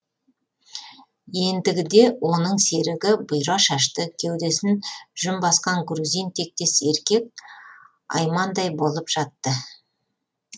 ендігіде оның серігі бұйра шашты кеудесін жүн басқан грузин тектес еркек аймаңдай болып жатты